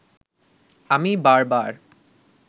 আমি বারবার